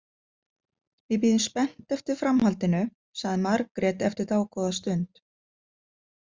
Við bíðum spennt eftir framhaldinu, sagði Margrét eftir dágóða stund.